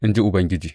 in ji Ubangiji.